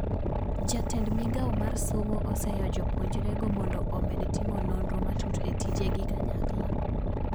Jatend migao mar somo oseyo jopuonjre go mondo omed timo nondro matut e tije gi kanyakla